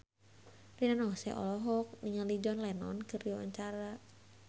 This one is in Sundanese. Rina Nose olohok ningali John Lennon keur diwawancara